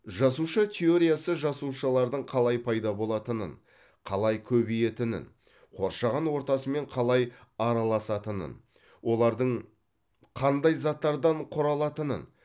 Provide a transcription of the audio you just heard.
жасуша теориясы жасушалардың қалай пайда болатынын қалай көбейетінін қоршаған ортасымен қалай араласатынын олардың қандай заттардан құралатынын